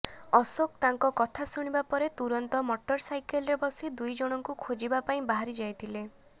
ଅଶୋକ ତାଙ୍କ କଥା ଶୁଣିବାପରେ ତୁରନ୍ତ ମଟର ସାଇକେଲ୍ରେ ବସି ଦୁଇଜଣଙ୍କୁ ଖୋଜିବା ପାଇଁ ବାହାରିଯାଇଥିଲେ